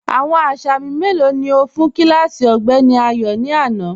Awọn asámì melo ni o fun kílásí Ọgbẹ̀ni Ayo ni ana?